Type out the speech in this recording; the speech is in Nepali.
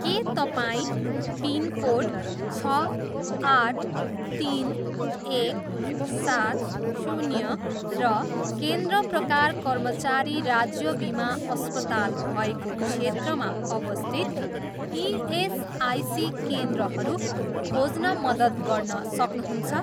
के तपाईँँ पिनकोड छ आठ तिन एक सात शून्य र केन्द्र प्रकार कर्मचारी राज्य बिमा अस्पताल भएको क्षेत्रमा अवस्थित इएसआइसी केन्द्रहरू खोज्न मद्दत गर्न सक्नुहुन्छ?